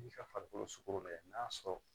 I ka farikolo sogo bɛɛ n'a sɔrɔ